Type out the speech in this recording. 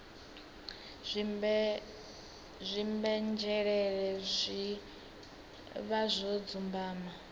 dzimbenzhelele zwi vha zwo dzumbama